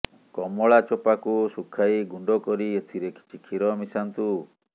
କମଳା ଚୋପାକୁ ଶୁଖାଇ ଗୁଣ୍ଡ କରି ଏଥିରେ କିଛି କ୍ଷୀର ମିଶାନ୍ତୁ